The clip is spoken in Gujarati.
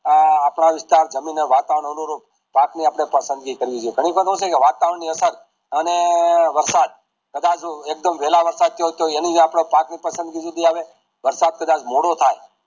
આ અપડા વિસ્તાર જમીન ના વાતાવરણ અનુરૂપ પાક ની આપડે પસંદગી કરવી જોયીયે ઘણી વખત એવું છેકે વાતાવરની આસાર અને વરસાદ કદાચ એક્દમ વેલા વરસાદ થિયું તોહ એનીજ આપડે પાકની પસંદગી આવે વરસાદ કદાચ મોડો થાય